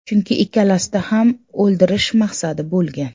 Chunki ikkalasida ham o‘ldirish maqsadi bo‘lgan.